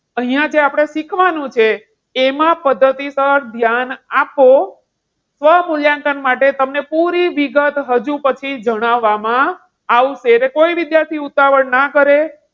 અહીંયા જે આપણે શીખવાનું છે, એમાં પદ્ધતિસર ધ્યાન આપો સ્વમૂલ્યાંકન માટે તમને પૂરી વિગત હજુ પછી જણાવવામાં આવશે. એટલે કોઈ વિદ્યાર્થી ઉતાવળ ન કરે.